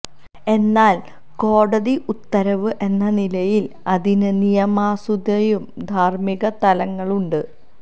എന്നാല് കോടതി ഉത്തരവ് എന്ന നിലയില് അതിന് നിയമസാധുതയും ധാര്മ്മിക തലങ്ങളുമുണ്ട്